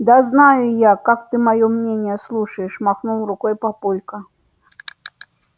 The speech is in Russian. да знаю я как ты моё мнение слушаешь махнул рукой папулька